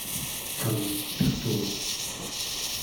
анна пестова